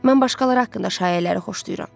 Mən başqaları haqqında şayiələri xoşlayıram.